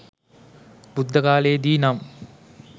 බුද්ධකාලයේ දී නම්